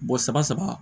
Mɔgɔ saba saba